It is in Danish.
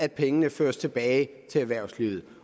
at pengene føres tilbage til erhvervslivet